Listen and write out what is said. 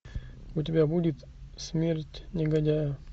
у тебя будет смерть негодяя